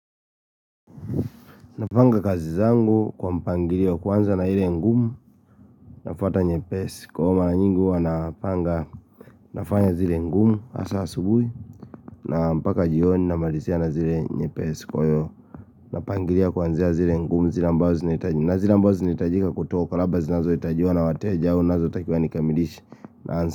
Napanga kazi zangu kwa mpangilio kwanza na ile ngumu nafuata nyepesi Kwa hivo mara nyingi huwa napanga nafanya zile ngumu hasa asubuhi na mpaka jioni namalizia na zile nyepesi kwa hivyo napangilia kwanza zile ngumu zila mbao zinitajika kutuwa Kalaba zinazo itajua na watejao nazo takiuwa nikamilishi.